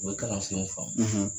U be kalansenw faamu